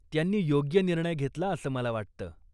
त्यांनी योग्य निर्णय घेतला असं मला वाटतं.